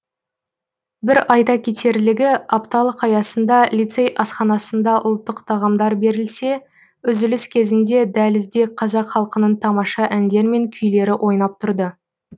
бір айта кетерлігі апталық аясында лицей асханасында ұлттық тағамдар берілсе үзіліс кезінде дәлізде қазақ халқының тамаша әндер мен күйлері ойнап тұрды